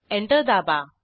enter दाबा